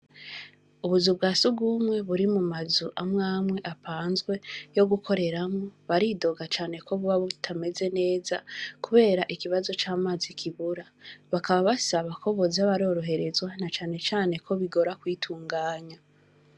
Ubuzu bwa surwumwe buri mu mazu amwe amwe apanzwe, yo gukoreramwo, baridoga cane ko buba butameze neza, kubera ikibazo c’amazi kibura; bakaba basaba ko boza baroroherezwa, na cane cane ko bigora kwitunganya.